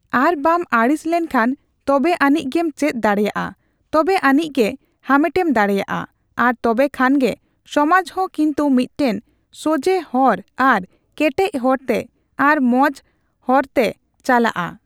ᱟᱨ ᱵᱟᱢ ᱟᱹᱲᱤᱥ ᱞᱮᱱᱠᱷᱟᱱ ᱛᱚᱵᱮ ᱟᱹᱱᱤᱡ ᱜᱮᱢ ᱪᱮᱫ ᱫᱟᱲᱮᱭᱟᱜᱼᱟ ᱾ ᱛᱚᱵᱮ ᱟᱹᱱᱤᱡ ᱜᱮ ᱦᱟᱢᱮᱴᱮᱢ ᱫᱟᱲᱮᱭᱟᱜᱼᱟ ᱾ᱟᱨ ᱛᱚᱵᱮ ᱠᱷᱟᱱ ᱜᱮ ᱥᱚᱢᱟᱡ ᱦᱚᱸ ᱠᱤᱱᱛᱩ ᱢᱤᱫᱴᱮᱱ ᱥᱚᱡᱽᱦᱮ ᱦᱚᱨ ᱟᱨ ᱠᱮᱴᱮᱡ ᱦᱚᱨᱛᱮ, ᱟᱨ ᱢᱚᱸᱡᱽ ᱦᱚᱯᱨ ᱛᱮ ᱪᱟᱞᱟᱜᱼᱟ ᱾